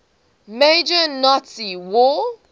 major nazi war